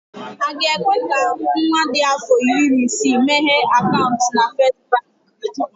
Aga ekwe ka nwa dị afọ iri na isii meghee akaụntụ na First Baankị?